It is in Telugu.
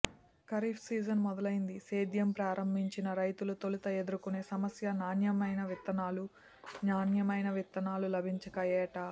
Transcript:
ఖరీఫ్ సీజన్ మొదలైంది సేద్యం ప్రారంభించిన రైతులు తొలుత ఎదుర్కొనే సమస్య నాణ్యమైన విత్తనాలు నాణ్యమైన విత్తనాలు లభించక ఏటా